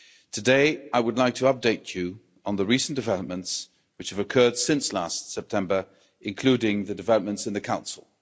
Today, I would like to update you on the developments which have occurred since last September, including the developments in the Council.